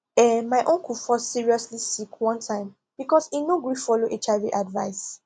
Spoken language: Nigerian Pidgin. ehn my uncle fall seriously sick one time because e no gree follow hiv advice